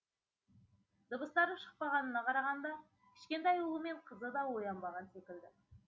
дыбыстары шықпағанына қарағанда кішкентай ұлы мен қызы да оянбаған секілді